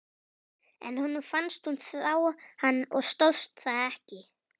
En honum fannst hún þrá hann og stóðst það ekki.